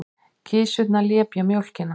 Kisurnar lepja mjólkina.